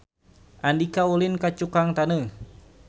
Andika ulin ka Cukang Taneuh